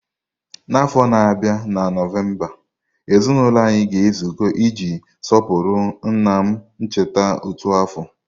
N'afọ na-abịa na Nọvemba, ezinụlọ anyị ga-ezukọ iji sọpụrụ nna m ncheta otu afọ.